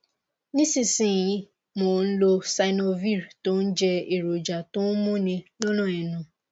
nísinsìnyí mo ń lo xynovir tó ń jẹ èròjà tó ń múni lọnà ẹnu